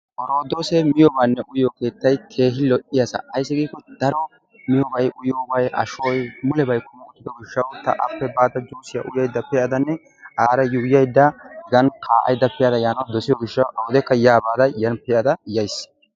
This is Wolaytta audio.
oroddoose miyoobanne uyyiyo keettay keehi lo''iyaassa, ayssi giiko daro miyyiyoobay, uyyiyoobay, ashshoy mulebay kummi uttido gishshaw ta appe baada juussiya uyyaydda pe'adanne aara yuuyaydda kaa'ada pe'ada yaanaw dossiyo gishshaw awude yaa baada yani pe'ada yaays.